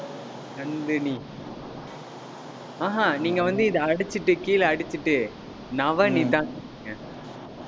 நந்தினி ஆஹா நீங்க வந்து, இதை அடிச்சிட்டு, கீழே அடிச்சிட்டு